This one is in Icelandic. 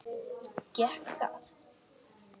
Gekk það?